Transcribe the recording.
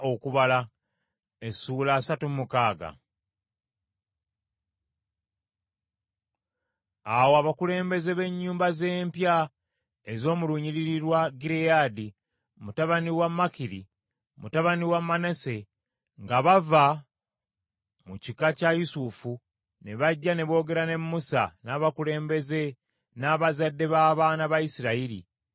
Awo abakulembeze b’ennyumba z’empya ez’omu lunyiriri lwa Gireyaadi, mutabani wa Makiri, mutabani wa Manase, nga bava mu kika kya Yusufu, ne bajja ne boogera ne Musa n’abakulembeze n’abazadde b’abaana ba Isirayiri.